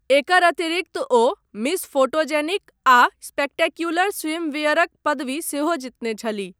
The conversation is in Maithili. एकर अतिरिक्त ओ मिस फोटोजेनिक आ स्पेक्टेक्युलर स्विमवियरक पदवी सेहो जितने छलीह।